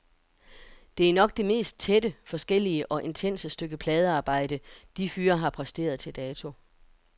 Det er nok det mest tætte, forskellige og intense stykke pladearbejde de fyre har præsteret til dato.